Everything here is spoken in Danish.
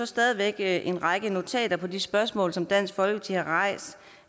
stadig væk en række notater på de spørgsmål som dansk folkeparti har rejst